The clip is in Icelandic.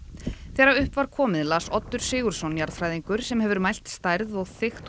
þegar upp var komið las Oddur Sigurðsson jarðfræðingur sem hefur mælt stærð og þykkt